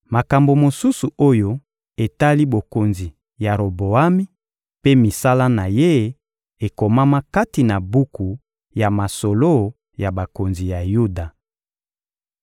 Makambo mosusu oyo etali bokonzi ya Roboami mpe misala na ye ekomama kati na buku ya masolo ya bakonzi ya Yuda.